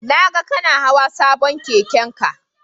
Na ga kana hawa sabon keken ka